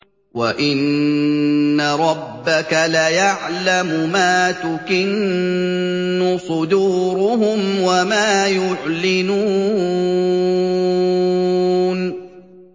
وَإِنَّ رَبَّكَ لَيَعْلَمُ مَا تُكِنُّ صُدُورُهُمْ وَمَا يُعْلِنُونَ